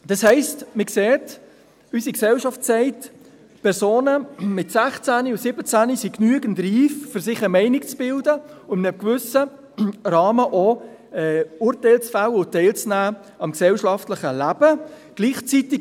Das heisst: Man sieht, dass unsere Gesellschaft sagt: Personen von 16 und 17 Jahren sind genügend reif, um sich eine Meinung zu bilden und in einem gewissen Rahmen auch Urteile zu fällen und am gesellschaftlichen Leben teilzunehmen.